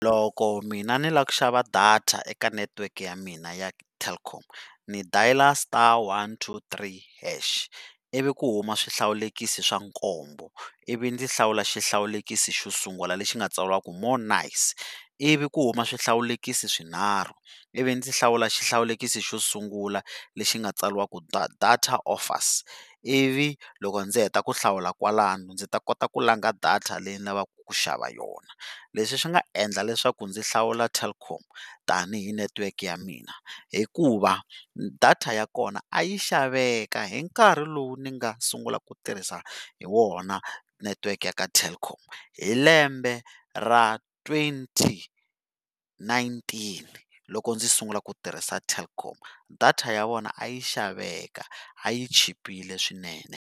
Loko mina ni lava ku xava data eka network ya mina ya Telkom ni dial star one two three hash ivi ku huma swihlawulekisi swa nkombo, ivi ndzi hlawula xihlawulekisi xo sungula lexi nga tsariwa ku more nice, ivi ku huma swihlawulekisi swinharhu ivi ndzi hlawula xihlawulekisi xo sungula lexi nga tsariwa ku data offers, ivi loko ndzi heta ku hlawula kwalano ndzi ta kota ku langa data leyi ni lavaka ku xava yona, leswi swi nga endla leswaku ndzi hlawula Telkom tanihi network ya mina hikuva data ya kona a yi xaveka hi nkarhi lowu ni nga sungula ku tirhisa hi wona network ya ka Telkom, hi lembe ra twenty nineteen loko ndzi sungula ku tirhisa Telkom data ya vona a yi xaveka a yi chipile swinene.